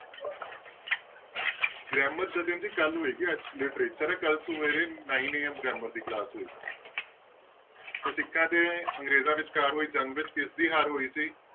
grammar Jatin ji ਕੱਲ੍ਹ ਹੋਏਗੀ ਅੱਜ literature ਹੈ ਕੱਲ੍ਹ ਸਵੇਰੇ nine AM grammar ਦੀ class ਹੋਏਗੀ ਤੇ ਸਿੱਖਾਂ ਤੇ ਅੰਗਰੇਜ਼ਾਂ ਵਿਚਕਾਰ ਹੋਈ ਜੰਗ ਵਿੱਚ ਕਿਸਦੀ ਹਾਰ ਹੋਈ ਸੀ।